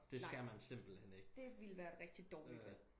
Nej det ville være et rigtig dårligt valg